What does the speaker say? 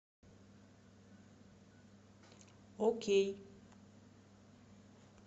окей